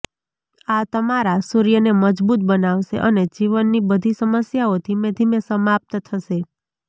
આ તમારા સૂર્યને મજબૂત બનાવશે અને જીવનની બધી સમસ્યાઓ ધીમે ધીમે સમાપ્ત થશે